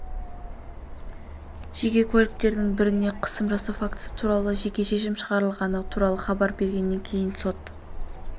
жеке куәліктердің біріне қысым жасау фактісі туралы жеке шешім шығарылғаны туралы хабар бергеннен кейін сот